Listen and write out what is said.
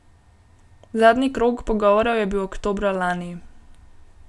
Zadnji krog pogovorov je bil oktobra lani.